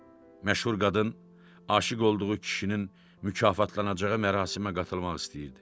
Məşhur qadın aşiq olduğu kişinin mükafatlanacağı mərasimə qatılmaq istəyirdi.